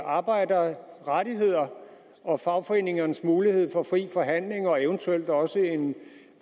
arbejderrettigheder og fagforeningernes mulighed for fri forhandling og eventuelt også en